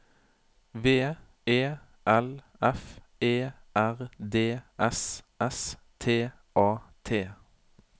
V E L F E R D S S T A T